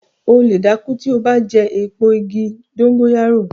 O lè dákú tí o bá jẹ eepo igi dongóyárò